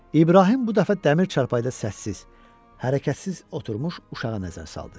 İbrahim bu dəfə dəmir çarpayda səssiz, hərəkətsiz oturmuş uşağa nəzər saldı.